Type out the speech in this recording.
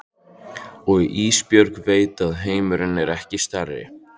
Og Ísbjörg veit að heimurinn er ekki stærri.